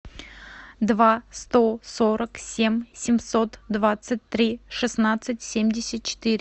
два сто сорок семь семьсот двадцать три шестнадцать семьдесят четыре